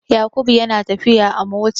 Yakubu yana tafiya a mota.